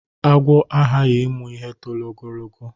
Agwọ agaghị ịmụ ihe toro ogologo.